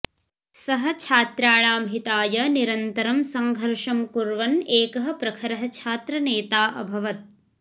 सः छात्राणां हिताय निरन्तरं सङ्घर्षं कुर्वन् एकः प्रखरः छात्रनेता अभवत्